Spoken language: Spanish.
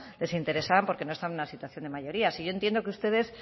les interesaban porque no estaban en una situación de mayoría si yo entiendo que ustedes